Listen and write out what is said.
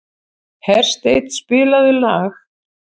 Hersteinn, spilaðu lag.